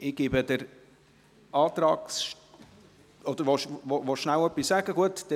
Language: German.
Ich gebe der Antragstellerin …– Oder wollen Sie kurz etwas sagen, Grossrat Moser?